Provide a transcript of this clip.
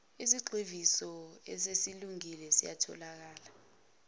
isigxivizo esesilungile siyatholakala